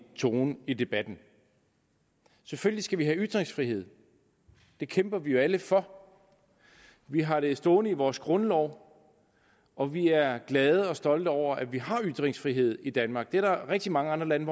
tone i debatten selvfølgelig skal vi have ytringsfrihed det kæmper vi jo alle for vi har det stående i vores grundlov og vi er glade og stolte over at vi har ytringsfrihed i danmark det er der rigtig mange lande